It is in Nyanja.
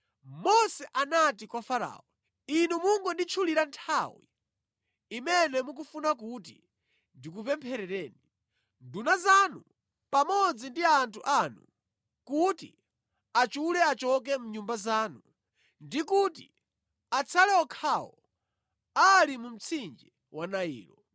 Mose anati kwa Farao, “Inu mungonditchulira nthawi imene mukufuna kuti ndikupempherereni, nduna zanu pamodzi ndi anthu anu kuti achule achoke mʼnyumba zanu ndi kuti atsale okhawo ali mu mtsinje wa Nailo.”